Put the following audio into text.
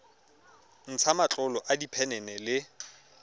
ntsha matlolo a diphenene le